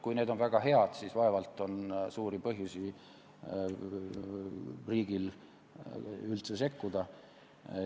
Kui need on väga head, siis vaevalt on riigil üldse suurt põhjust sekkuda.